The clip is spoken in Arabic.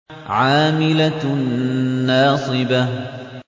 عَامِلَةٌ نَّاصِبَةٌ